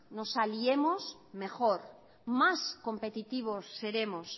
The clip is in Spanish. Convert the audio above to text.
nos aliemos mejor más competitivos seremos